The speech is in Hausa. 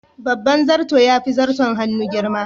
Babban zarto yafi zarton hannu girma.